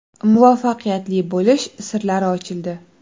Muvaffaqiyatli bo‘lish sirlari ochildi!